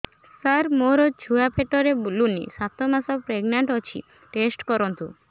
ସାର ମୋର ଛୁଆ ପେଟରେ ବୁଲୁନି ସାତ ମାସ ପ୍ରେଗନାଂଟ ଅଛି ଟେଷ୍ଟ କରନ୍ତୁ